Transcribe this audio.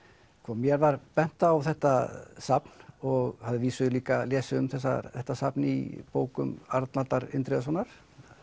mér var bent á þetta safn og hafði að vísu líka lesið um þetta safn í bókum Arnaldar Indriðasonar